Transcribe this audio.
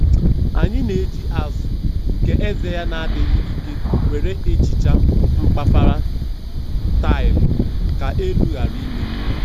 Anyị na - eji azụ nke eze ya na-adịghị ike were ehicha mkpafara taịlu ka elu ghara imebi